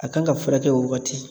A kan ka furakɛ o wagati